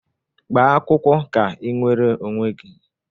Gbaa akwụkwọ ka i nwere onwe gị!